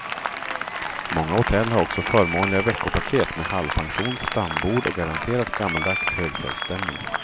Många hotell har också förmånliga veckopaket med halvpension, stambord och garanterat gammaldags högfjällsstämning.